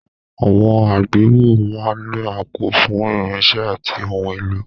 Àwọn àgbéwọ̀ máa ń ní àpò fún irinṣẹ́ àti ohun èlò.